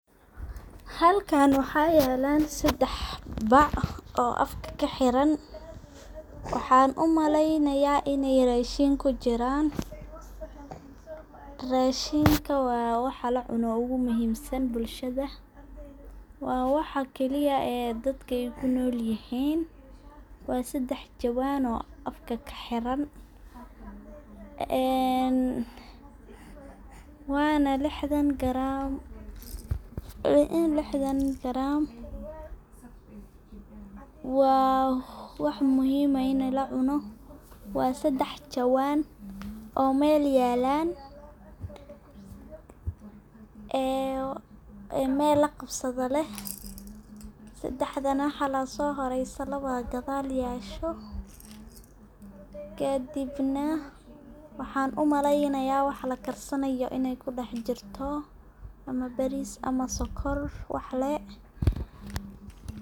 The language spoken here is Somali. Halkan waxa yelaan sedex bac oo afka kahiran. Waxan u maleynaaya iney rashin kujiran. Rashinka waa waxa lacuna ugu muhimsan bulshada .Waa waxa kaliya dadka ku nolyihin waa sedex jawaan oo afka kahiran waana lixdan garam waa wax muhim ah ini lacuno. Waa sedex jawaan oo mel yelaan meel laqabsada leh oo gadal yesho ,kadibna waxan u maleynayo wax lakarsanayo iney kudah jiirto ama baris ama sonkor wahle.